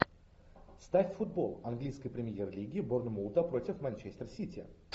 ставь футбол английской премьер лиги борнмута против манчестер сити